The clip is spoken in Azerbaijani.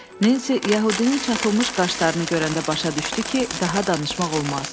Nensi yəhudinin çatılmış qaşlarını görəndə başa düşdü ki, daha danışmaq olmaz.